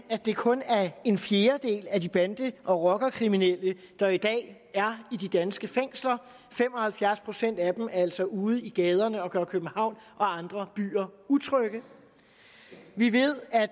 det kun er en fjerdedel af de bande og rockerkriminelle der i dag er i de danske fængsler fem og halvfjerds procent af dem er altså ude i gaderne og gøre københavn og andre byer utrygge vi ved at